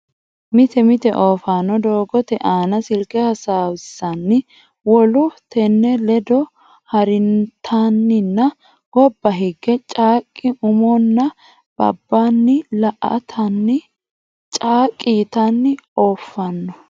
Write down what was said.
Mite mite oofaano doogote aana silke hasaawissanni wolu tenne ledo haariintanninna gobba higge caaqqi umo aani nabbawanna la atenni caaqqi yitanni ooffanno.